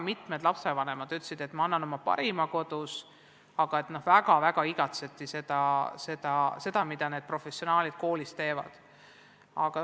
Mitmed lapsevanemad ütlesid, et nad annavad kodus endast parima, aga väga igatseti seda, mida need professionaalid koolis teevad.